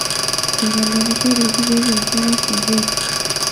eitanapishoteki peepuo inkera sukuul